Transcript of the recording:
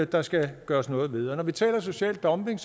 der skal gøres noget ved når vi taler social dumping